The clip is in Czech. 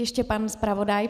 Ještě pan zpravodaj.